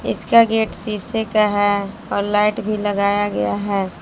इसका गेट सीसे का है और लाइट भी लगाया गया है।